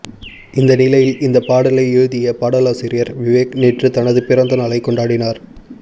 இந்த நிலையில் இந்த பாடலை எழுதிய பாடலாசிரியர் விவேக் நேற்று தனது பிறந்த நாளை கொண்டாடினார்